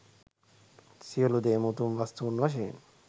සියලු දේම උතුම් වස්තුන් වශයෙන්